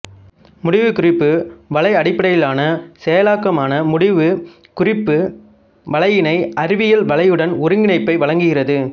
முடிவுக்குறிப்பு வலை அடிப்படையிலான செயலாக்கமான முடிவு குறிப்பு வலையினை அறிவியல் வலையுடன் ஒருங்கிணைப்பை வழங்குகிறது